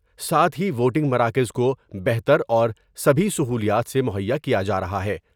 ساتھ ہی ووٹنگ مراکز کو بہتر اور سبھی سہولیات سے مہیا کیا جارہا ہے ۔